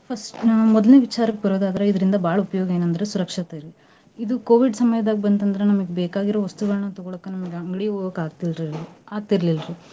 ಹೊಸ್~ ನ್ ಮೊದ್ಲಿನ್ ವಿಚಾರಕ್ಕ್ ಬರೋದಾದ್ರ ಇದ್ರಿಂದ ಬಾಳ್ ಉಪಯೋಗ ಎನಂದ್ರ ಸುರಕ್ಷತೆ ರಿ ಇದು Covid ಸಮಯ್ದಾಗ ಬಂತಂದ್ರ ನಮ್ಗ ಬೇಕಾಗಿರೋ ವಸ್ತುಗಳನ್ನ ತಗೋಳಾಕ ನಮ್ಗ ಅಂಗ್ಡಿಗ್ ಹೋಗಾಕ ಆಗ್ತೀರ್~ ಆಗ್ತೀರಲಿಲ್ಲ ರಿ .